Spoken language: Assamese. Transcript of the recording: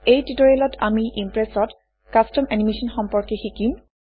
এই টিউটৰিয়েলত আমি ইমপ্ৰেছত কাষ্টম এনিমেচন সম্পৰ্কে শিকিম